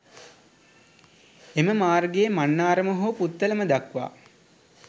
එම මාර්ගයේ මන්නාරම හෝ පුත්තලම දක්වා